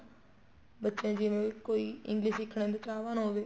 ਬੱਚੇ ਨੂੰ ਜਿਵੇਂ ਵੀ ਕੋਈ English ਸਿਖਣ ਦਾ ਚਾਹਵਾਨ ਹੋਵੇ